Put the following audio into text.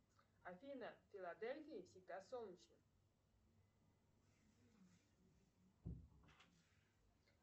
афина в филадельфии всегда солнечно